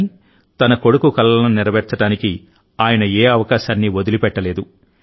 కానీ తన కొడుకు కలలను నెరవేర్చడానికి ఆయన ఏ అవకాశాన్నీ వదిలిపెట్టలేదు